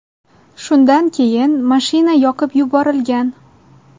Shundan keyin mashina yoqib yuborilgan.